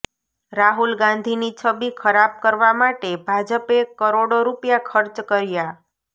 રાહુલ ગાંધીની છબી ખરાબ કરવા માટે ભાજપે કરોડો રૂપિયા ખર્ચ કર્યા